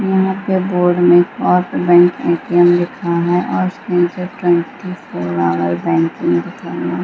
यहाँ पे बोर्ड में बैंक ए.टी.एम. लिखा है और ट्वेंटी फोर ऑवर बैंक --